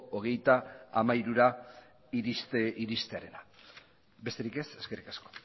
hogeita hamairura iristearena besterik ez eskerrik asko